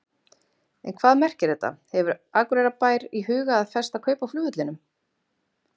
En hvað merkir þetta, hefur Akureyrarbær í huga að festa kaup á flugvellinum?